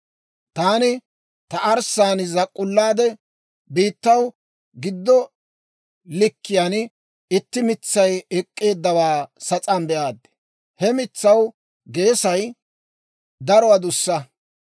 «Taani ta arssaan zak'k'ullaade, biittaw giddo likkiyaan itti mitsay ek'k'eeddawaa sas'aan be'aad; he mitsaw geesay daro adussa.